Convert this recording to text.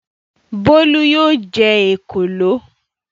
Bólú yóò jẹ òkòló.